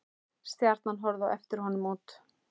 Stjarna horfði á eftir honum út.